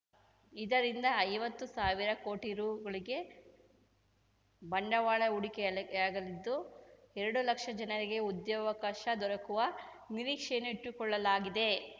ಇದರಿಂದ ಐವತ್ತು ಸಾವಿರ ಕೋಟಿ ರೂ ವರೆಗೆ ಬಂಡವಾಳ ಹೂಡಿಕೆಯಾಗಲಿದ್ದು ಎರಡು ಲಕ್ಷ ಜನರಿಗೆ ಉದ್ಯೋಗಾವಕಾಶ ದೊರಕುವ ನಿರೀಕ್ಷೆಯನ್ನು ಇಟ್ಟುಕೊಳ್ಳಲಾಗಿದೆ